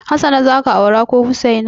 Hassana za ka aura ko Hussaina?